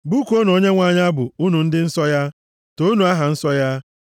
Bụkuonụ Onyenwe anyị abụ, unu ndị nsọ ya, toonu aha nsọ ya.